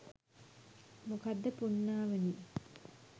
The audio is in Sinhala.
මොකක්ද පුණ්ණාවනි